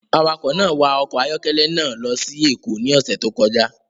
Awakọ̀ náà wa ọkọ̀ ayọ́kẹ́lẹ́ náà lọ sí Èkó ní ọ̀sẹ̀ tó kọjá